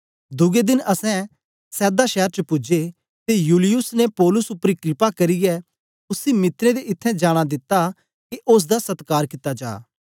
दुए देन असैं सैदा शैर च पूजे ते यूलियुस ने पौलुस उपर कृपा करियै उसी मित्रें दे इत्थैं जाना दिता के ओसदा सत्कार कित्ता जा